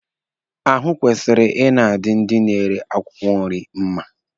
Ahụ kwesịrị ị na-adi ndị na-ere akwụkwọ nri mma.